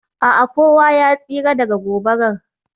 A'a, kowa ya tsira daga gobarar